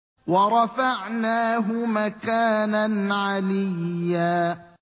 وَرَفَعْنَاهُ مَكَانًا عَلِيًّا